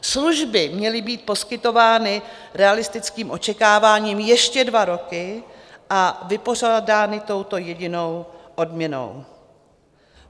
Služby měly být poskytovány realistickým očekáváním ještě dva roky a vypořádány touto jedinou odměnou.